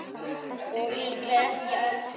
Og líklega ekki allra.